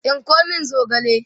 tsinko min zogale!